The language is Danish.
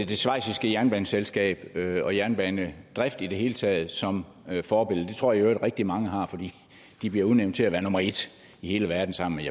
det schweiziske jernbaneselskab og jernbanedrift i det hele taget som forbillede det tror jeg i øvrigt at rigtig mange har fordi de bliver udnævnt til at være nummer et i hele verden sammen